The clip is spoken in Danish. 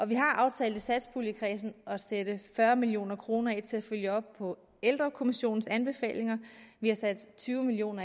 vi har aftalt i satspuljekredsen at sætte fyrre million kroner af til at følge op på ældrekommissionens anbefalinger vi har sat tyve million